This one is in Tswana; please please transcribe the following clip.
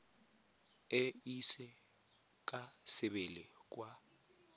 e ise ka sebele kwa